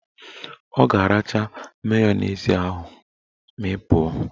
Ọ ga-aracha mayonezi ahụ ma ị pụọ